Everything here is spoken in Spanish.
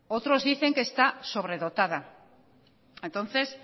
otros dicen que esta sobredotada entonces